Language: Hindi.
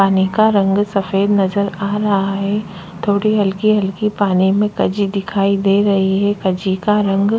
पानी का रंग सफ़ेद नजर आ रहा हैथोड़ी हल्की -हल्की पानी में कजी दिखाई दे रही है कजी का रंग--